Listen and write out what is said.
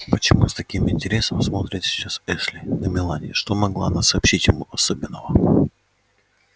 почему с таким интересом смотрит сейчас эшли на мелани что могла она сообщить ему особенного